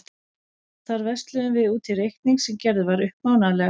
Þar versluðum við út í reikning sem gerður var upp mánaðarlega.